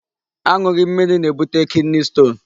Aṅụghị mmiri na-ebute kidney stone.